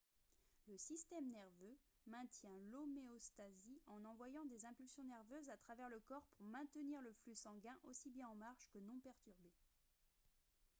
le système nerveux maintient l'homéostasie en envoyant des impulsions nerveuses à travers le corps pour maintenir le flux sanguin aussi bien en marche que non perturbé